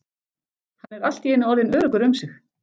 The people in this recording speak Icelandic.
Hann er allt í einu orðinn öruggur um sig.